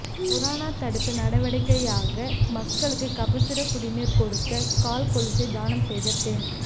corona தடுப்பு நடவடிக்கையாக மக்களுக்கு கபசுர குடிநீர் கொடுக்க கால் கொலுசை தானம் செய்த பெண்